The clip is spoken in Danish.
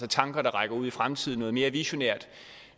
tanker der rækker ud i fremtiden noget mere visionært